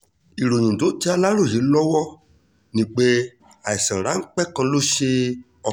ìròyìn tó tẹ aláròye lọ́wọ́ ni pé àìsàn ráńpẹ́ kan ló ṣe ọ